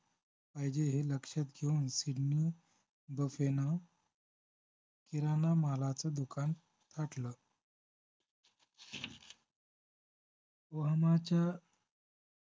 पाहिजे हे लक्षात घेऊन सिडनी बफेनं किराणा मालाचं दुकान टाकलं ओहामाच्या